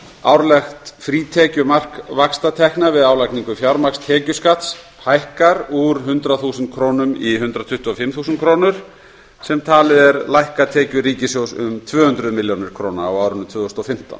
árlegt frítekjumark vaxtatekna við álagningu fjármagnstekjuskatts hækkar úr hundrað þúsund krónur í hundrað tuttugu og fimm þúsund krónur sem talið er lækka tekjur ríkissjóðs um tvö hundruð milljóna króna á árinu tvö þúsund og fimmtán